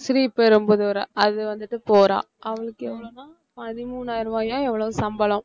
ஸ்ரீபெரும்புதூரா அது வந்துட்டு போறா அவளுக்கு எவ்ளோன்னா பதிமூனாயிரம் ரூவாயோ எவ்வளவோ சம்பளம்